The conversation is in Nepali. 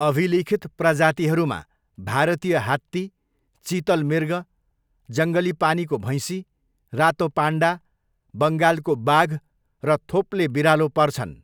अभिलिखित प्रजातिहरूमा भारतीय हात्ती, चितल मृग, जङ्गली पानीको भैँसी, रातो पान्डा, बङ्गालको बाघ र थोप्ले बिरालो पर्छन्।